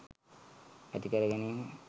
ඇති කරගැනීම